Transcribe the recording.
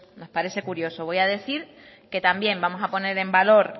nos parece curioso voy a decir que también vamos a poner en valor